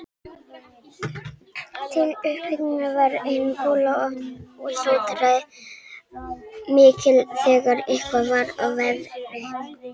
Til upphitunar var einn kolaofn og sótaði mikið þegar eitthvað var að veðri.